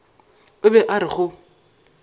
o be a re go